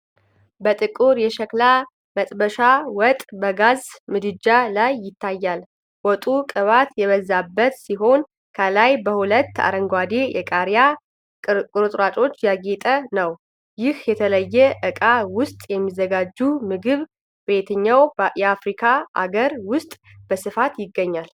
በጥቁር የሸክላ መጥበሻ ወጥ በጋዝ ምድጃ ላይ ይታያል። ወጡ ቅባት የበዛበት ሲሆን፣ ከላይ በሁለት አረንጓዴ የቃሪያ ቁርጥራጮች ያጌጠ ነው። ይህ በተለየ ዕቃ ውስጥ የሚዘጋጅ ምግብ በየትኛው የአፍሪካ አገር ውስጥ በስፋት ይገኛል?